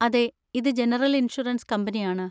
അതെ, ഇത് general insurance കമ്പനിയാണ്.